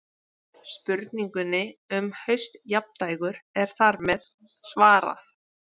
Spurningunni um haustjafndægur er þar með svarað.